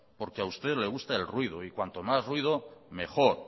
porque a usted le gusta el ruido y cuanto más ruido mejor